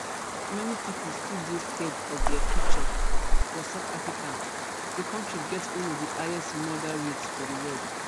many pipo still dey scared of dia future for south africa di kontri get one of di highest murder rates for di world